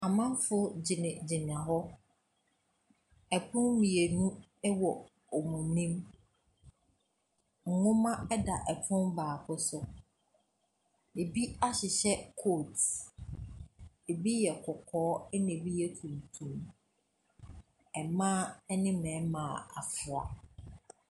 Amanfoɔ gyinagyina hɔ. Pono mmienu wɔ wɔn anim. Nwoma da pono baako so. Ɛbi ahyehyɛ coat. Ɛbi yɛ kɔkɔɔ, ɛna abi yɛ tuntum. Mmaa ne mmarima a wɔafra.